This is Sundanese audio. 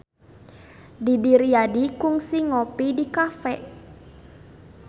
Didi Riyadi kungsi ngopi di cafe